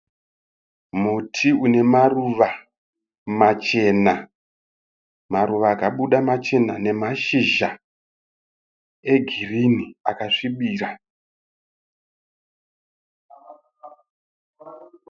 Muti une maruva machena. Maruva akabuda machena nemashizha egirini akasvibira.